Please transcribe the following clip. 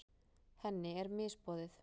Henni er misboðið.